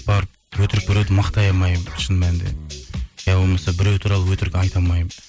барып өтірік біреуді мақтай алмаймын шын мәнінде иә болмаса біреу туралы өтірік айта алмаймын